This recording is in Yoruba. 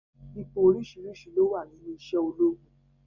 Ipò oríṣiríṣi ló wà nínú iṣẹ̀ ológun